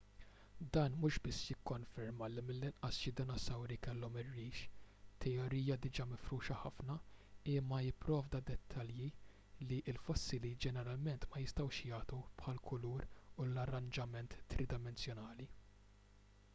dan mhux biss jikkonferma li mill-inqas xi dinosawri kellhom ir-rix teorija diġà mifruxa ħafna imma jipprovdi dettalji li l-fossili ġeneralment ma jistgħux jagħtu bħall-kulur u l-arranġament tridimensjonali